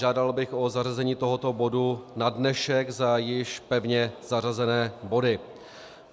Žádal bych o zařazení tohoto bodu na dnešek za již pevně zařazené body.